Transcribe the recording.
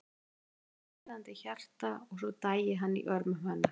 En hann væri með blæðandi hjarta og svo dæi hann í örmum hennar.